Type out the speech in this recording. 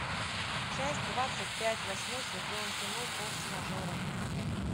часть двадцать пять восьмой сезон кино форс мажоры